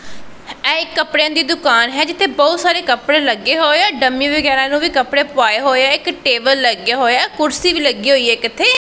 ਇਹ ਇੱਕ ਕੱਪੜਿਆਂ ਦੀ ਦੁਕਾਨ ਹੈ ਜਿੱਥੇ ਬਹੁਤ ਸਾਰੇ ਕੱਪੜੇ ਲੱਗੇ ਹੋਏ ਆ ਡੰਮੀ ਵਗੈਰਾ ਨੂੰ ਵੀ ਕੱਪੜੇ ਪੁਆਏ ਹੋਏ ਆ ਇੱਕ ਟੇਬਲ ਲੱਗਿਆ ਹੋਇਆ ਐ ਕੁਰਸੀ ਵੀ ਲੱਗੀ ਹੋਈ ਏ ਇੱਕ ਇੱਥੇ।